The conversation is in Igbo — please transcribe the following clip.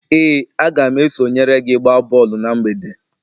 Ee, a ga m esonyere gị gbaa bọọlụ na mgbede